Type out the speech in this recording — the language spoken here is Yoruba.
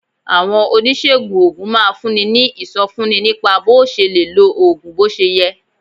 Àwọn oníṣègùn oògùn máa ń fúnni ní ìsọfúnni nípa bó o ṣe lè lo oògùn bó ṣe yẹ